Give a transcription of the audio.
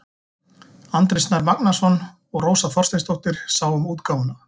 Andri Snær Magnason og Rósa Þorsteinsdóttir sáu um útgáfuna.